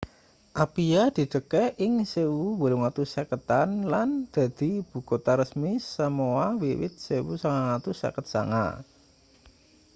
apia didegaké ing 1850-an lan dadi ibukutha resmi samoa wiwit 1959